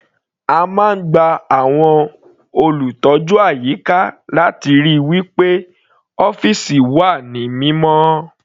A máa ń gba àwọn olùtọ́jú àyíká láti ríi wí pé ọ́fìsì wà ní mímọ́.